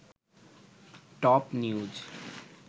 top news